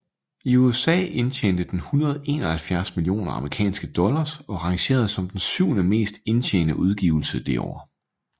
I USA indtjente den 171 millioner amerikanske dollars og rangerede som den syvende mest indtjene udgivelse det år